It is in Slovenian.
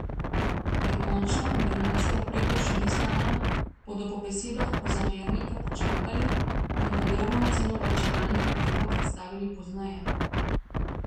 Ker končna kombinacija ukrepov še ni znana, bodo po besedah Kozamernika počakali in podrobno oceno varčevalnih ukrepov predstavili pozneje.